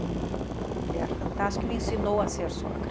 Uma mulher fantástica que me ensinou a ser sogra.